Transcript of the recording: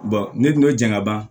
ne tun bɛ jɛn ka ban